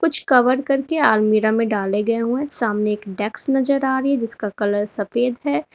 कुछ कवर करके अलमीरा में डाले गए हुए हैं सामने एक डेस्क नजर आ रही है जिसका कलर सफेद है।